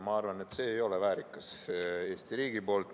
Ma arvan, et see ei ole Eesti riigist väärikas.